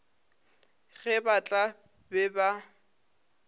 ge ba tla be ba